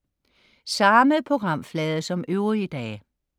Samme programflade som øvrige dage